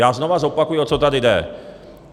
Já znovu zopakuji, o co tady jde.